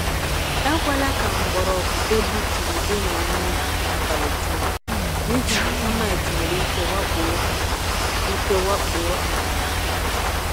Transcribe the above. Ekwela ka mgbọrọgwụ egbuturu dina n’ubi abalị dum, n’ihi na termites nwere ike wakpo ha. ike wakpo ha.